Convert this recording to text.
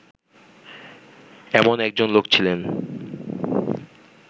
এমন একজন লোক ছিলেন